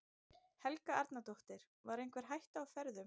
Helga Arnardóttir: Var einhver hætta á ferðum?